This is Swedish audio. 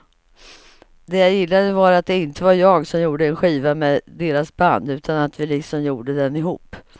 Det jag gillade var att det inte var jag som gjorde en skiva med deras band utan att vi liksom gjorde den ihop.